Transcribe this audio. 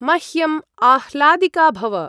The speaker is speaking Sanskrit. मह्यम् आह्लादिका भव।